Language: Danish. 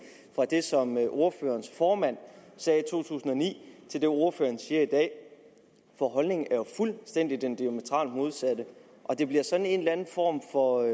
fra det som ordførerens formand sagde i to tusind og ni til det ordføreren siger i dag for holdningen er jo fuldstændig den diametralt modsatte og det bliver sådan en eller anden form for